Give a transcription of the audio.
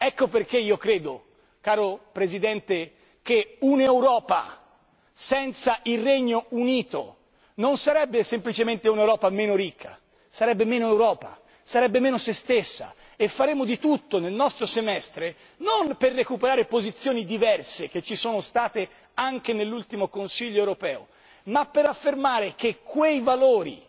Ecco perché io credo, caro Presidente, che un'Europa senza il Regno Unito non sarebbe semplicemente un'Europa meno ricca, sarebbe meno Europa, sarebbe meno sé stessa e faremo di tutto nel nostro semestre non per recuperare posizioni diverse, che ci sono state anche nell'ultimo Consiglio europeo, ma per affermare che quei valori